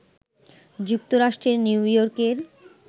যুক্তরাষ্ট্রের নিউইয়র্কের